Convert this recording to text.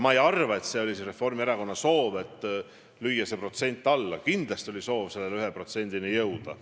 Ma ei arva, et see oli Reformierakonna soov lüüa see protsent alla, kindlasti oli soov selle 1%-ni jõuda.